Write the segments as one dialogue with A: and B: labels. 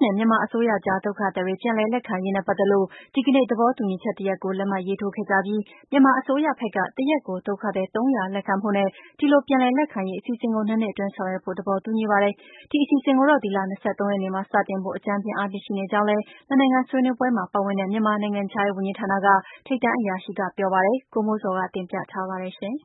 A: နဲ့ မြန်မာအစိုးရအကြား ဒုက္ခသည်တွေ ပြန်လည်လက်ခံရေးနဲ့ပတ်သက်လို့ ဒီကနေ့ သဘောတူညီချက်တရပ်ကို လက်မှတ်ရေးထိုးခဲ့ကြပြီး မြန်မာအစိုးရဖက်က တရက်ကို ဒုက္ခသည် ၃၀၀ လက်ခံ ဖို့နဲ့ ဒီလိုပြန်လည်လက်ခံရေးအစီအစဉ်ကို ၂နှစ်အတွင်း ဆောင်ရွက်ဖို့ သဘောတူညီပါတယ်။ ဒီအစီအစဉ် ကိုတော့ ဒီလ ၂၃ရက်နေ့မှာစတင်ဖို့ အကြမ်းဖျဉ်းအားဖြင့် ရှိနေကြောင်းလည်း နှစ်နိုင်ငံဆွေးနွေးပွဲမှာ ပါဝင်တဲ့ မြန်မာနိုင်ငံခြားရေးဝန်ကြီးဌာနက ထိပ်တန်းအရာရှိက ပြောပါတယ်။ ဒီသတင်းကို ဗွီအိုအေမြန်မာပိုင်းရဲ့ သတင်းထောက် ကိုမိုးဇော်က တင်ပြထားပါတယ်။ ဘင်္ဂ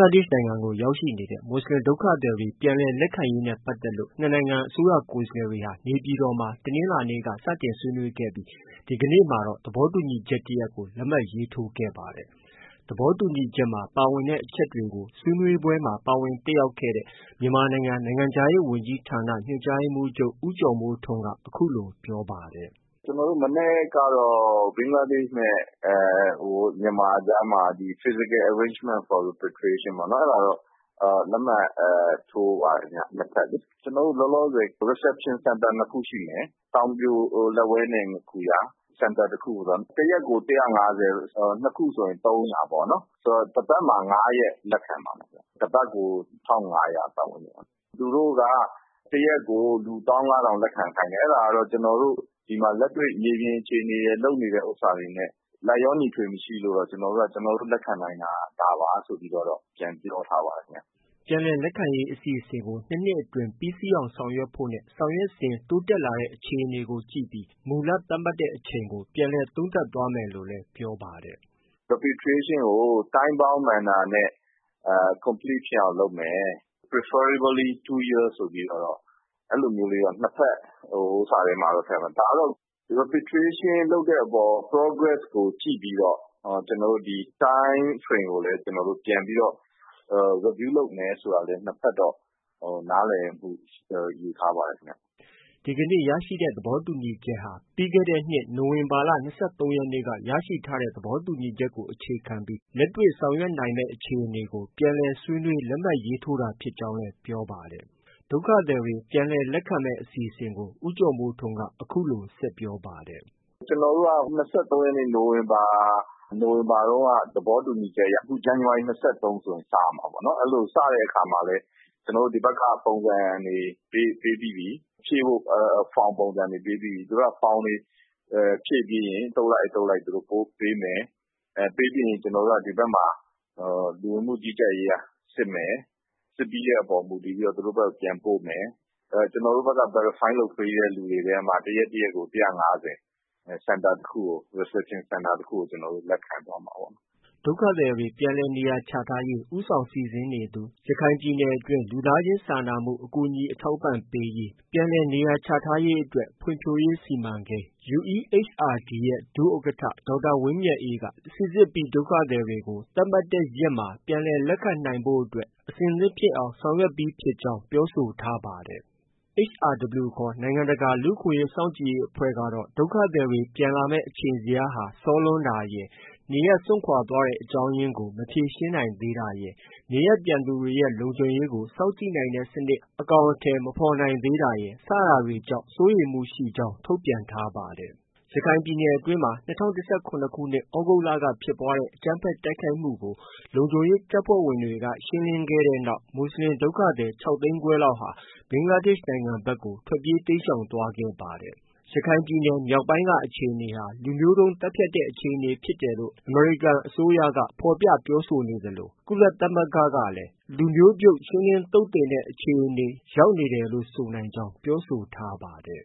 A: လားဒေ့ရ်ှနိုင်ငံကို ရောက်ရှိနေတဲ့ မူဆလင်ဒုက္ခသည်တွေ ပြန်လည်လက်ခံရေးနဲ့ပက်သတ်လို့ နှစ်နိုင်ငံ အစိုးရကိုယ်စားလှယ်တွေဟာ နေပြည်တော်မှာ တနင်္လာနေ့ကစတင်ဆွေးနွေးခဲ့ပြီး ဒီကနေ့ မှာတော့ သဘောတူညီချက် တရပ်ကို လက်မှတ်ရေးထိုးခဲ့ပါတယ်။ သဘောတူညီချက်မှာ ပါဝင်တဲ့အချက်တွေကို ဆွေးနွေးပွဲမှာ ပါဝင်တက်ရောက်ခဲ့တဲ့ မြန်မာနိုင်ငံ နိုင်ငံခြားရေးဝန်ကြီးဌာန ညွှန်ကြားရေးမှူးချုပ် ဦးကျော်မိုးထွန်းက အခုလို ပြောပါတယ်။
B: “ ကျနော်တို့ မနက်ကတော့ ဘင်္ဂလားဒေ့ရ်ှနဲ့ မြန်မာကြားမှာ Physical Arrangement for Repatriation ပေါ့၊ အဲဒါတော့ လက်မှတ်ထိုးပါတယ်ခင်ဗျ။ နှစ်ဖက်လေ။ ကျနော်တို့ လောလောဆည် Reception Centre ၂ခုရှိမယ်။ တောင်ပြိုလက်ဝဲနဲ့ ငါးခူရ၊ Centre တခုကို တရက်ကို ၁၅၀ ။ ၂ခုဆိုရင် ၃၀၀ပေါ့နော်။ ဆိုတော့ တပတ်မှာ ၅ရက်လက်ခံပါမယ်။ တစ်ပတ်ကို ၁၅၀၀ ပတ်ဝန်းကျင်ပေါ့။ သူတို့က တစ်ရက်ကို ၁၅၀၀၀ လက်ခံခိုင်းတယ်။အဲဒါတော့ ကျနော်တို့ လက်တွေ့မြေပြင်အခြေအနေရယ် လုပ်နေတာတွေနဲ့ လိုက်လျောညီထွေမရှိလို့ ကျနော်တို့က ကျနောတို့လက်ခံနိုင်တာ ဒါပါဆိုပြီးတော့ ပြန်ပြောထားပါတယ်ခင်
A: ဗျ။ ” ပြန်လည်လက်ခံရေးအစီအစဉ်ကို ၂နှစ်အတွင်း ပြီးစီးအောင်ဆောင်ရွက်ဖို့နဲ့ ဆောင်ရွက်စဉ် တိုးတက်လာတဲ့ အခြေအနေကို ကြည့်ပြီး မူလသတ်မှတ်တဲ့အချိန်ကို ပြန်လည်သုံးသပ်သွားမယ်လို့လည်း ပြောပါတယ်
B: ။ “Repatriation ကို time bound manner နဲ့ complete ဖြစ်အောင်လုပ်မယ်။ preferably two years ဆိုပြီးတော့ အဲလိုလေးတော့ နှစ်ဖက် ဟိုဥစ္စာထဲမှာ ထည့်ထားတယ်။ ဒါကတော့ Repatriation လုပ်တဲ့အပေါ် progress ကို ကြည့်ပြီးတော့ ကျနော်တို့ Time frame ကိုလည်း ပြန်ပြီးတော့ review လုပ်မယ်ဆိုပြီးတော့ ကျနော်တို့ နားလည်မှုယူထားပါတယ်။ ” ဒီက
A: နေ့ ရရှိတဲ့သဘောတူညီချက်ဟာ ပြီးခဲ့တဲ့ နိုဝင်ဘာလ ၂၃ရက်နေ့က ရရှိထားတဲ့သဘောတူညီချက်ကို အခြေခံပြီး လက်တွေ့ဆောင်ရွက်နိုင်မယ်အခြေအနေကို ပြန်လည်ဆွေးနွေး လက်မှတ်ရေးထိုးတာ ဖြစ်ကြောင်း လည်း ပြောပါတယ်။ ဒုက္ခသည်တွေ ပြန်လည်လက်ခံမယ်အစီအစဉ်ကို ဦးကျော်မိုးထွန်းက အခုလို ဆက်ပြောပါတယ်
B: ။ “ ကျနေ်ာတို့က ၂၃ရက်နေ့ နိုဝင်ဘာ တုန်းက သဘောတူညီချက်အရ အခု ဇန်နဝါရီ ၂၃ဆို စရမှာပေါ့နော်။ အဲလို စတဲ့အခါမှာလည်း ကျနော်တို့ ဒီဖက်က ပုံစံတွေ ပေးပြီးပြီ။ ဖြည့်ဖို့ from ပုံစံတွေပေးပြီးပြီ။ သူတို့က form တွေဖြည့်ပြီးရင် အသုတ်လိုက်၊ အသုတ်လိုက် ပို့ပေးမယ်။ ပေးပြီးရင် ကျနော်တို့က ဒီဖက်မှာ လူဝင်မှုကြီးကြပ်ရေးက စစ်မယ်။ စစ်ပြီးတဲ့ အပေါ်မူတည်ပြီးတော့ သူတို့ဖက်ကို ပြန်ပို့မယ်။ ကျနေ်ာတို့က verify လုပ်ပြီးတဲ့ သူတွေထဲမှာ တရက်တရက်ကို ၁၅၀ Reception center တခုကို လက်ခံသွားမှာပေါ့
A: ။ ” ဒုက္ခသည်တွေ နေရာချထားရေး ဦးဆောင်စီစဉ်နေသူ ရခိုင်ပြည်နယ်တွင်း လူသားချင်းစာနာမှု အကူအညီ အထောက်အပံ့ပေးရေး၊ ပြန်လည်နေရာချထားရေးအတွက် ဖွံ့ဖြိုးရေး စီမံကိန်း UEHRD ဒုဥက္ကဋ္ဌ ဒေါက်တာဝင်းမြတ်အေးက စိစစ်ပြီးဒုက္ခသည်တွေကို သတ်မှတ်ထားတဲ့ရက်မှာပြန်လည်လက်ခံဖို့အတွက် အဆင်သင့်ဖြစ်အောင်ဆောင်ရွက်ကြောင်း ပြောဆိုထားပါတယ်။ HRW ခေါ် နိုင်ငံတကာလူ့အခွင့်အရေးစောင့်ကြည့်ရေးအဖွဲ့ကတော့ ဒုက္ခသည်တွေ ပြန်လာမယ်အချိန်ဇယားက စောလွန်းတာရယ်၊ နေရပ်စွန့်ခွာသွားတဲ့အကြောင်းရင်းကို မဖြေရှင်းနိုင်သေးတာရယ်၊ နေရပ်ပြန်သူတွေရဲ့ လုံခြုံရေးကို စောင့်ကြည့်နိုင်တဲ့စနစ် အကောင်အထည်မဖော်နိုင်တာရယ် စတာတွေကြောင့် စိုးရိမ်မှုရှိကြောင်း ထုတ်ပြန်ထားပါတယ်။ ရခိုင်ပြည်နယ်အတွင်းမှာ ၂၀၁၇ခုနှစ် သြဂုတ်က ဖြစ်ပွားတဲ့အကြမ်းဖက်တိုက်ခိုက်မှုကို လုံခြုံရေး တပ်ဖွဲ့ဝင်တွေ က ရှင်းလင်းခဲ့တဲ့နောက် မူဆလင်ဒုက္ခသည်၆ သိန်းခွဲလောက်ဟာ ဘင်္ဂလားဒေ့ရှ်ဖက်ကို တိမ်းရှောင်သွား ခဲ့ပါ တယ်။ ရခိုင်ပြည်နယ်မြောက်ပိုင်းက အခြေအနေဟာ လူမျိုးတုံးသတ်ဖြတ်တဲ့အခြေအနေဖြစ်တယ်လို့ အမေရိ ကန်အစိုးရက ဖော်ပြပြောဆိုခဲ့သလို။ ကုလသမဂ္ဂကလည်း လူမျိုးပြုတ်ရှင်းလင်း သုတ်သင် တဲ့ အခြေအနေ ရောက်နေတယ်လို့ ဆိုနိုင်ကြောင်း ပြောဆိုထားပါတယ်